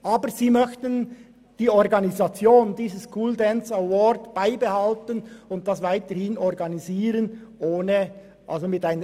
Aber man möchte die Organisation dieses School Dance Awards bei sich behalten.